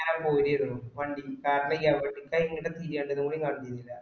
ഞ പൊരീഡും വണ്ടിക്ക് കാറ്റടിക്കാൻ